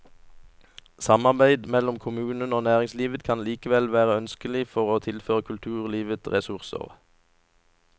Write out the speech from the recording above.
Samarbeid mellom kommunen og næringslivet kan likevel være ønskelig for å tilføre kulturlivet ressurser.